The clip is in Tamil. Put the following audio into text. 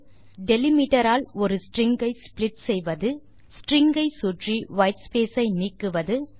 டெலிமிட்டர் ஆல் ஒரு ஸ்ட்ரிங் ஐ ஸ்ப்ளிட் செய்வது ஸ்ட்ரிங் ஐ சுற்றி வைட்ஸ்பேஸ் ஐ நீக்குவது